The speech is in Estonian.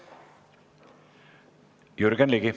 Jürgen Ligi.